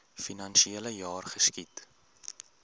finansiele jaar geskied